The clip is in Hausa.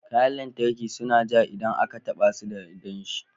Kayan lantarki suna ja idan aka taba su da danshi